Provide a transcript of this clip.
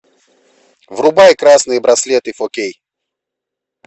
врубай красные браслеты фо кей